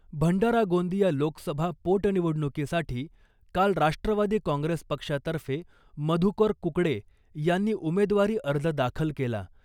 भंडारा गोंदिया लोकसभा पोटनिवडणूकीसाठी काल राष्ट्रवादी काँगेस पक्षातर्फे मधुकर कुकडे यांनी उमेदवारी अर्ज दाखल केला .